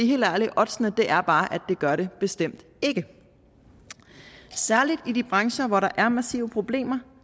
helt ærligt oddsene er bare at det gør det bestemt ikke særlig i de brancher hvor der er massive problemer